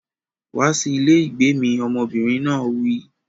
Wá sí ilé ìgbé mi! Ọmọbìnrin náà wí.